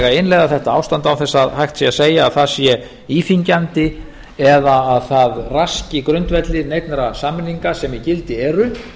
innleiða þetta ástand án þess að hægt sé að segja að það sé íþyngjandi eða að það raski grundvelli neinna samninga sem í gildi eru